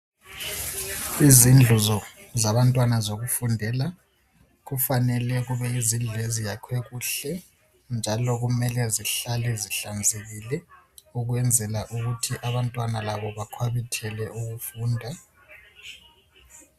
Izindlu zabantwana zokufundela kufanele kube yizindlu eziyakhwe kuhle njalo kumele zihlale zihlanzekile ukwenzela ukuthi abantwana labo bakhwabithele ukufunda.